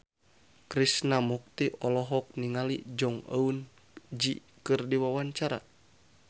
Krishna Mukti olohok ningali Jong Eun Ji keur diwawancara